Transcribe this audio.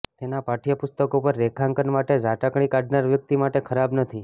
તેના પાઠ્યપુસ્તકો પર રેખાંકન માટે ઝાટકણી કાઢનાર વ્યક્તિ માટે ખરાબ નથી